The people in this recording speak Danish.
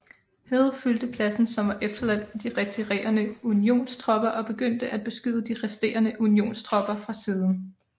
Hill fyldte pladsen som var efterladt af de retirerende Unionstropper og begyndte at beskyde de resterende Unionstropper fra siden